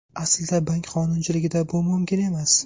Aslida bank qonunchiligida bu mumkin emas.